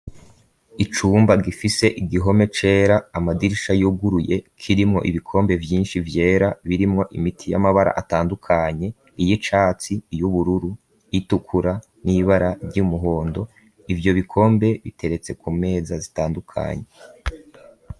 Icumba gifise igihome cera, amadirisha yuguruye kirimwo ibikombe vyinshi vyera birimwo imiti y'amabara atandukanye, iy'icatsi, y'ubururu itukura, n'ibara ry'umuhondo, ivyo bikombe biteretse ku meza zitandukanye.